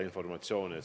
Juhtus ka seda.